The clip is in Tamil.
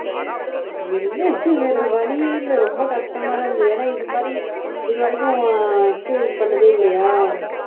என்ன இது வேற வழியே இல்ல ரொம்ப கஷ்டமாதான் இருந்தது ஏன்னா இது மாதிரி இதுவரைக்கும் experience பண்ணதே இல்லையா